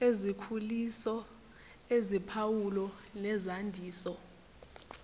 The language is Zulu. ezikhuliso eziphawulo nezandiso